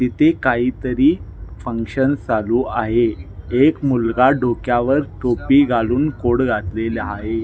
इथे काहीतरी फंक्शन चालु आहे एक मुलगा डोक्यावर टोपी घालुन कोट घातलेला आहे.